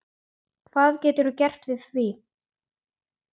Hvað geturðu gert við því?